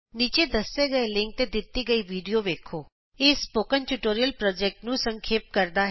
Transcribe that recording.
ਨੀਚੇ ਦੱਸੇ ਗਏ ਲਿੰਕ ਤੇ ਦਿਤੀ ਗਈ ਵੀਡੀਊ ਵੇਖੋ httpspoken tutorialorg What is a Spoken Tutorial ਇਹ ਸਪੋਕਨ ਟਿਯੂਟੋਰਿਅਲ ਪੋ੍ਜੈਕਟ ਨੂੰ ਸੰਖੇਪ ਕਰਦਾ ਹੈ